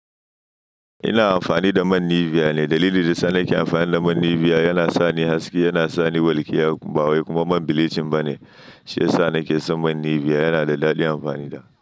Ina amfani da man Nivea ne. Dalilin da yasanake amfani da man Nivea yana sani haske, yana sani walƙiya, ba wai kuma man bilicin ba ne. Shi yasa nake son man Nivea, yana da daɗin amfani da.